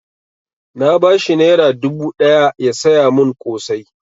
Na ba shi naira dubu ɗaya ya saya mun ƙosai